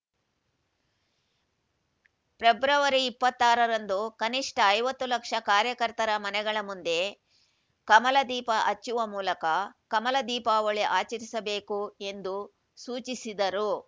February ಇಪ್ಪತ್ತಾರರಂದು ಕನಿಷ್ಠ ಐವತ್ತು ಲಕ್ಷ ಕಾರ್ಯಕರ್ತರ ಮನೆಗಳ ಮುಂದೆ ಕಮಲ ದೀಪ ಹಚ್ಚುವ ಮೂಲಕ ಕಮಲ ದೀಪಾವಳಿ ಆಚರಿಸಬೇಕು ಎಂದು ಸೂಚಿಸಿದರು